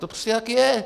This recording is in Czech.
To prostě tak je.